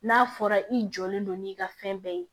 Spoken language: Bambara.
N'a fɔra i jɔlen don n'i ka fɛn bɛɛ ye